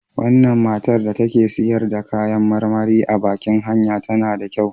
Wannan matan da take siyar da kayan marmari a baƙin hanya tana da kyau.